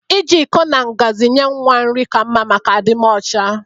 Ị ji iko na ngazi nye nwa nri ka mma maka adịmọcha